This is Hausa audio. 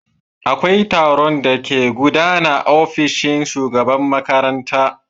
Akwai taron da ke gudana aofishin shugaban makaranta.